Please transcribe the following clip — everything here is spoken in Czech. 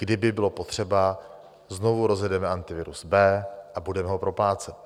Kdyby bylo potřeba, znovu rozjedeme Antivirus B a budeme ho proplácet.